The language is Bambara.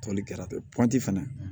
Toli kɛra ten pɔnp fɛnɛ